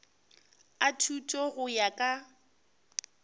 a thuto go ya ka